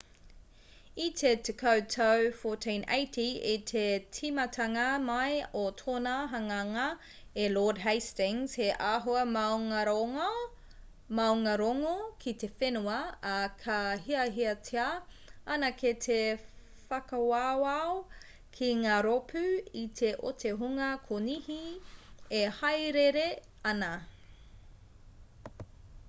i te tekau tau 1480 i te tīmatanga mai o tōna hanganga e lord hastings he āhua maungārongo ki te whenua ā ka hiahiatia anake te whakawawao ki ngā rōpū iti o te hunga konihi e hāereere ana